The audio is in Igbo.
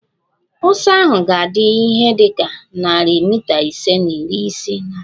Ọsọ ahụ ga-adị ihe dị ka narị mita ise na iri isii na asaa